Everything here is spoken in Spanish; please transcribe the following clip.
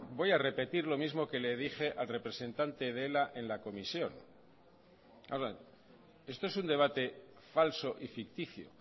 voy a repetir lo mismo que le dije al representante de ela en la comisión esto es un debate falso y ficticio